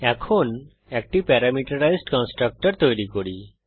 এখন একটি parameterized constructor তৈরী করি